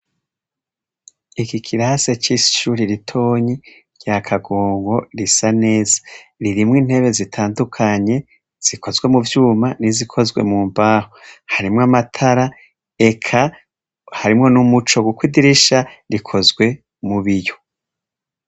Iki kirase c'ishuri ritonyi rya Kagongo risa neza ririmwo intebe zitandukanye zikozwe mu vyuma n'izikozwe mu mbaho harimwo amatara ekaharimwo n'umuco guko idirisha rikozwe mu biyo.